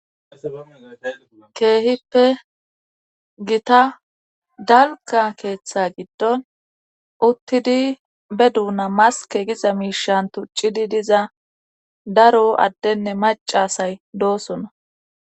keehippe gita dalga keeththa giddon uttidi be duuna maske giza miishan tuccidi diza daro addenne macasay doosona.